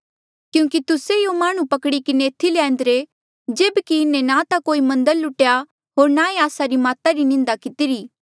क्यूंकि तुस्से यूँ माह्णुं पकड़ी किन्हें एथी ल्यान्दिरे जेब्की इन्हें ना ता कोई मन्दर लुटेया होर ना ई आस्सा री माता री निंदा कितिरा